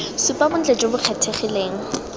supa bontle jo bo kgethegileng